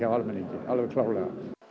almenningi alveg klárlega